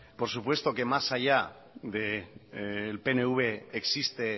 por supuesto que más allá del pnv existe